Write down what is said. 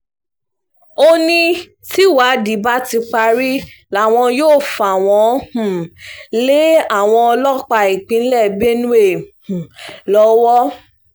ó ní tìwádìí bá ti parí làwọn yóò fà wọ́n um lé àwọn ọlọ́pàá ìpínlẹ̀ benue um lọ́wọ́